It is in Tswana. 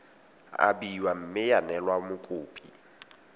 abiwa mme ya neelwa mokopi